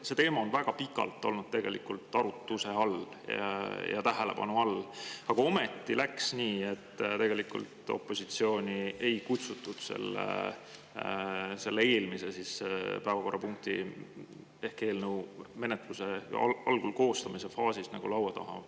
See teema on olnud tegelikult väga pikalt arutluse ja tähelepanu all, aga ometi läks nii, et opositsiooni ei kutsutud selle eelmise päevakorrapunkti eelnõu menetluse algul ehk koostamise faasis laua taha.